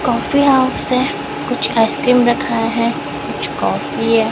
Coffee house है कुछ ice cream रखा है कुछ काफी है।